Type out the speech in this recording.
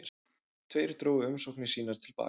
Tveir drógu umsóknir sínar til baka